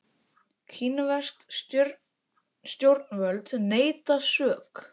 Kínversk stjórnvöld neita sök